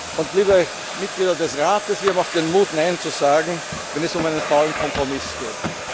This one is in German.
Und liebe Mitglieder des Rates, wir haben auch den Mut, Nein zu sagen, wenn es um einen faulen Kompromiss geht.